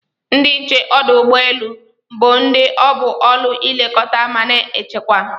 Ndi nche odụ ụgbọ elu bu ndi obu ọlu ilekọta mana echekwa.